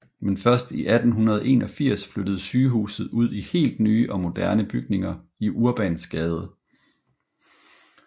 Men først i 1881 flyttede sygehuset ud i helt nye og moderne bygninger i Urbansgade